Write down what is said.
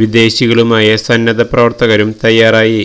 വിദേശികളുമായ സന്നദ്ധ പ്രവര്ത്തകരും തയാറായി